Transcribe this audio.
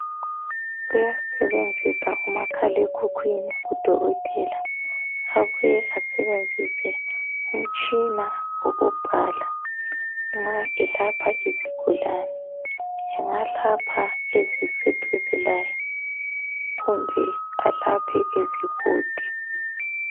Uyasebenzisa umakhalekhukwini udokotela abuye esebenzise umtshini ukubhala nxa elapha izigulani engalapha eziseduze laye kumbe alaphe ezikude